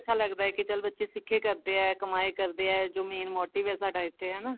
ਅੱਛਾ ਲੱਗਦਾ ਕੇ ਚੱਲ ਸਿੱਖੇ ਆ ਕਮਾਈ ਕਰਦੇ ਆ ਜੋ main motive ਹੈ ਸਾਡਾ ਇੱਥੇ ਹਨਾ